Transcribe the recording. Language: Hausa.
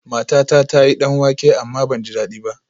Matata ta yi danwake amma ban ji dadi ba